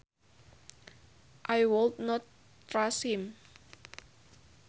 I would not trust him